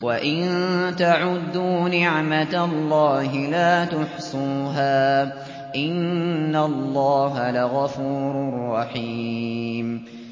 وَإِن تَعُدُّوا نِعْمَةَ اللَّهِ لَا تُحْصُوهَا ۗ إِنَّ اللَّهَ لَغَفُورٌ رَّحِيمٌ